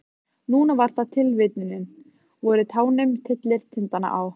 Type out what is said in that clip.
Núna var það tilvitnunin: Vorið tánum tyllir tindana á.